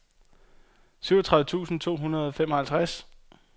syvogtredive tusind to hundrede og femoghalvtreds